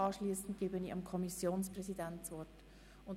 Anschliessend gebe ich dem Kommissionspräsidenten das Wort.